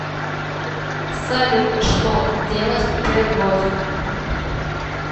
салют что делать при рвоте